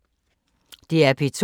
DR P2